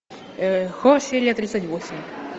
хор серия тридцать восемь